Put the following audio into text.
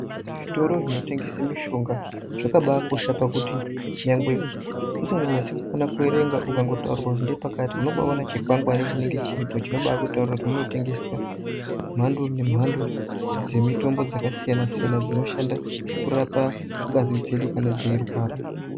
Zvitoro zvinotengese mishonga zvakabakosha pakuti nyangwe usinganyasi kukona kuerenga kana ukazi ende pakati, unobaone chikwangwari chinenge chiripo chinobakutaurira kuti munotengeswe mhando nemhando dzemitombo dzakasiyana siyana, dzinoshanda kurapa ngazi dzedu kana teirwara.